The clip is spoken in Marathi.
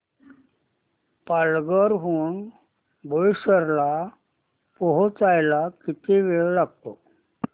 पालघर हून बोईसर ला पोहचायला किती वेळ लागतो